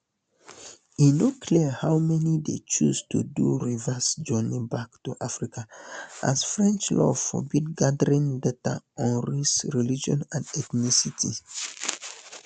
e no clear how many dey choose to do reverse journey back to africa as french law forbid gathering data on race religion and ethnicity